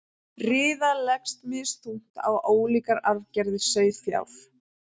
riða leggst misþungt á ólíkar arfgerðir sauðfjár